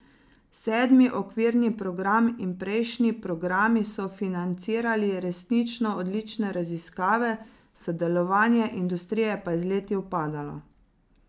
Sedmi okvirni program in prejšnji programi so financirali resnično odlične raziskave, sodelovanje industrije pa je z leti upadalo.